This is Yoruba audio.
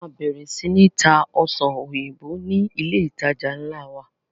A máa bẹ̀rẹ̀ sii tá Ọsàn òyìnbó ni ilé ìtajà nla wa.